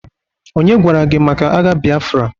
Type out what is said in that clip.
onye gwara gi maka agha Biafra?